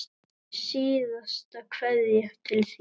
Síðasta kveðja til þín.